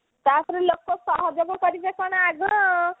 ତା ପରେ ଲୋକ ସହଜରେ କରିବେ କଣ ଆଗ